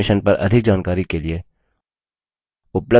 इस mission पर अधिक जानकारी के लिए उपलब्ध लिंक पर संपर्क करें